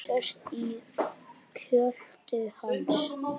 Sest í kjöltu hans.